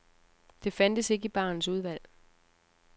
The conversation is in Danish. Det fandtes ikke i barens udvalg.